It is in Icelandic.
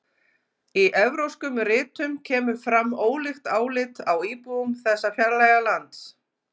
Í evrópskum ritum kemur fram ólíkt álit á íbúum þessa fjarlæga lands.